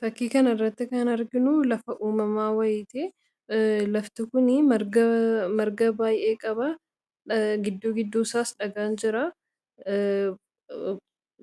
Fakkii kanarratti kan arginu lafa uumamaa wayiiti. Lafti kuni marga marga baay'ee qaba. Gidduu gidduu isaas dhagaan jiraa.